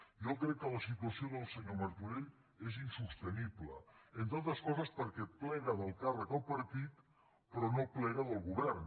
jo crec que la situació del senyor martorell és insostenible entre altres coses perquè plega del càrrec al partit però no plega del govern